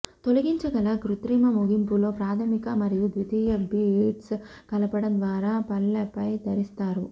తొలగించగల కృత్రిమ ముగింపులో ప్రాధమిక మరియు ద్వితీయ బిట్స్ కలపడం ద్వారా పళ్లపై ధరిస్తారు